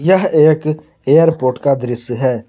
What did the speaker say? यह एक एयरपोर्ट का दृश्य है।